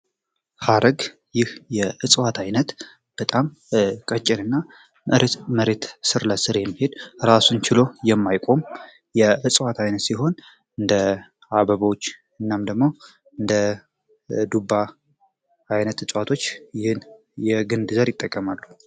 ሐረግ ይህ የእጽዋት ዓይነት በጣም ቀጭር እና መሬት ስር ለስር የምሄድ ራሱን ቺሎ የማይቆም የእጽዋት ዓይነት ሲሆን እንደ አበባዎች እናም ደግሞ እንደ ዱባ አይነት እጽዋቶች ይህን የግንድ ዘር ይጠቀማሉ።